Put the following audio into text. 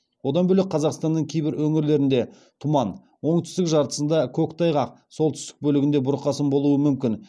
одан бөлек қазақстанның кейбір өңірлерінде тұман оңтүстік жартысында көктайғақ солтүстік бөлігінде бұрқасын болуы мүмкін